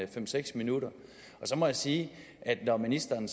fem seks minutter så må jeg sige at når ministeren